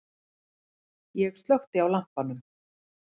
Ég slökkti á lampanum.